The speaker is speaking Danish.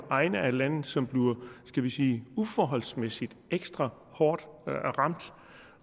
egne af landet som skal vi sige uforholdsmæssigt ekstra hårdt ramt